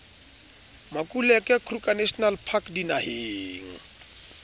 makuleke kruger national park dinaheng